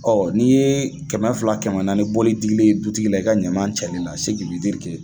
n'i ye kɛmɛ fila kɛmɛ naani bɔli digilen ye dutigi la i ka ɲama cɛli la